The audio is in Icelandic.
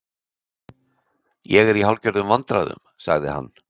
Ég er í hálfgerðum vandræðum- sagði hann.